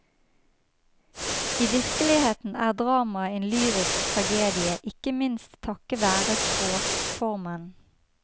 I virkeligheten er dramaet en lyrisk tragedie, ikke minst takket være språkformen.